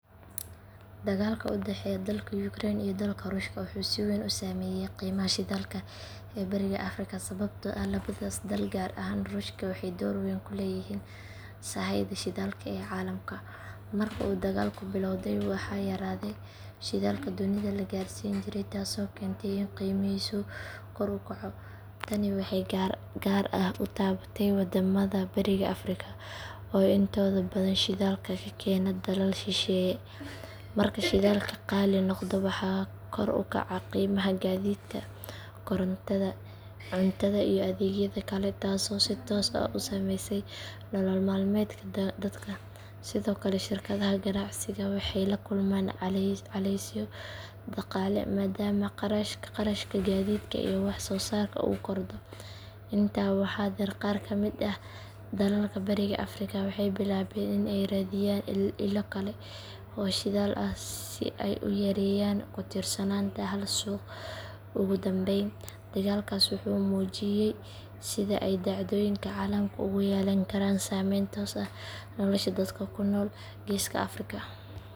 Dagaalka u dhexeeya dalka Ukraine iyo dalka Ruushka wuxuu si weyn u saameeyay qiimaha shidaalka ee bariga Afrika sababtoo ah labadaas dal gaar ahaan Ruushka waxay door weyn ku leeyihiin sahayda shidaalka ee caalamka. Marka uu dagaalku billowday waxaa yaraaday shidaalkii dunida la gaarsiin jiray taasoo keentay in qiimihiisu kor u kaco. Tani waxay si gaar ah u taabatay waddamada bariga Afrika oo intooda badan shidaalka ka keena dalal shisheeye. Marka shidaalkii qaali noqdo waxaa kor u kacaya qiimaha gaadiidka, korontada, cuntada iyo adeegyada kale taasoo si toos ah u saameysa nolol maalmeedka dadka. Sidoo kale shirkadaha ganacsiga waxay la kulmaan culaysyo dhaqaale maadaama kharashka gaadiidka iyo wax soo saarka uu kordho. Intaa waxaa dheer qaar ka mid ah dalalka bariga Afrika waxay bilaabeen in ay raadiyaan ilo kale oo shidaal ah si ay u yareeyaan ku tiirsanaanta hal suuq. Ugu dambayn dagaalkaas wuxuu muujiyay sida ay dhacdooyinka caalamka ugu yeelan karaan saameyn toos ah nolasha dadka ku nool geeska Afrika.